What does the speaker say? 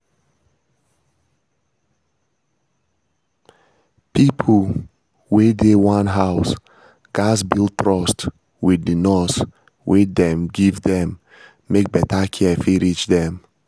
pipo wey dey one house gats build trust with the nurse wey dem give dem make better care fit reach dem.